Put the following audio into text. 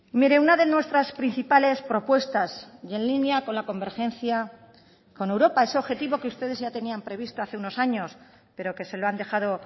mire una de nuestras principales propuestas y en línea con la convergencia con europa ese objetivo que ustedes ya tenían previsto hace unos años pero que se lo han dejado